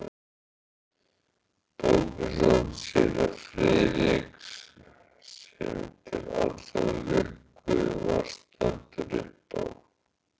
Bókasafn séra Friðriks, sem til allrar lukku var staddur uppá